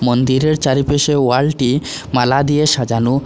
মন্দিরের চারিপাশে ওয়ালটি মালা দিয়ে সাজানো।